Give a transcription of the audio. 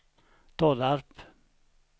Tollarp